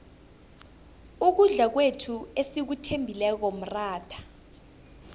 ukudla kwethu esikuthembileko mratha